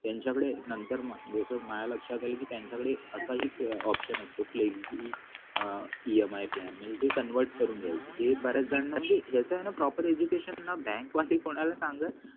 त्यांच्याकडे नंतर मग लोक माझ्या लक्षात आलं की त्यांच्या कडे असाही option असतो की EMI plan म्हणजे जे convert करून घ्यायचं हे बऱ्याच जणांना म्हणजे याच न proper education न बँकवाले कोणाला सांगत